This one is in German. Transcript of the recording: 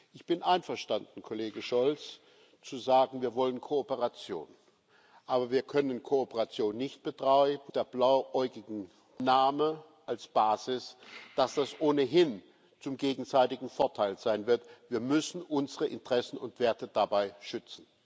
Ich bin einverstanden, Kollege Scholz, zu sagen Wir wollen Kooperation. Aber wir können Kooperation nicht auf der blauäugigen Annahme als Basis, dass das ohnehin zum gegenseitigen Vorteil sein wird, betreiben. Wir müssen unsere Interessen und Werte dabei schützen.